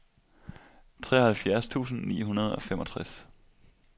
treoghalvfjerds tusind ni hundrede og femogtres